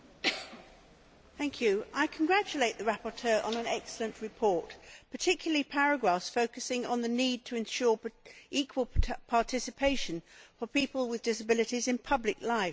Madam President, I congratulate the rapporteur on an excellent report, particularly the paragraphs focusing on the need to ensure equal participation for people with disabilities in public life.